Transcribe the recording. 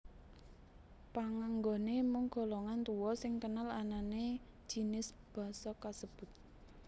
Panganggoné mung golongan tuwa sing kenal anané jinis basa kasebut